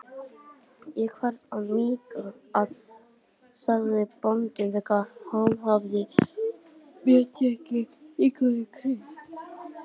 Ég þarf að míga, sagði bóndinn þegar hann hafði meðtekið líkama Krists.